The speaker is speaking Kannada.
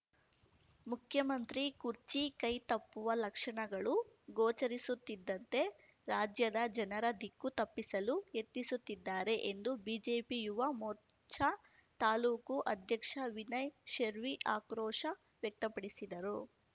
ಮುಖ್ಯಮಂತ್ರಿ ಕುರ್ಚಿ ಕೈ ತಪ್ಪುವ ಲಕ್ಷಣಗಳು ಗೋಚರಿಸುತ್ತಿದಂತೆ ರಾಜ್ಯದ ಜನರ ದಿಕ್ಕು ತಪ್ಪಿಸಲು ಯತ್ನಿಸುತ್ತಿದ್ದಾರೆ ಎಂದು ಬಿಜೆಪಿ ಯುವ ಮೋರ್ಚಾ ತಾಲೂಕು ಅಧ್ಯಕ್ಷ ವಿನಯ್‌ ಶೆರ್ವಿ ಆಕ್ರೋಶ ವ್ಯಕ್ತಪಡಿಸಿದರು